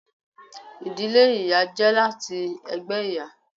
Ìdílé ìyá jẹ láti ẹgbẹ ìyá.